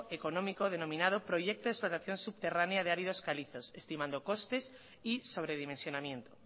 económico denominado proyecto de explotación subterránea de áridos calizos estimando costes y sobredimensionamiento